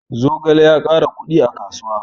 Zogale ya ƙara kuɗi a kasuwa